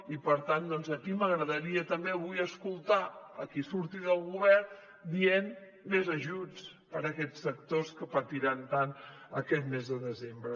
i per tant aquí m’agradaria també avui escoltar a qui surti del govern dient més ajuts per a aquests sectors que patiran tant aquest mes de desembre